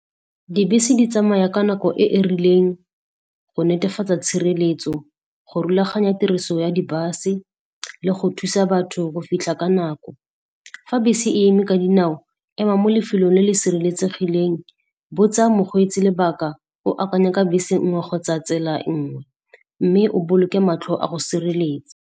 Dibese di tsamaya ka nako e e rileng go netefatsa tshireletso, go rulaganya tiriso ya di bus-e le go thusa batho go fitlha ka nako. Fa bese e eme ka dinao, ema mo lefelong le le sireletsegileng, botsa mokgweetsi lebaka, o akanya ka bese nngwe kgotsa tsela nngwe, mme o boloke matlho a go sireletsa.